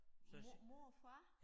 Mor mor og far